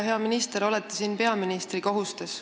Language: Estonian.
Hea minister, olete siin peaministri kohustes.